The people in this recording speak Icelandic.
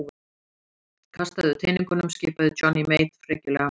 Kastaðu teningunum skipaði Johnny Mate frekjulega.